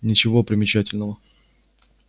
ничего примечательного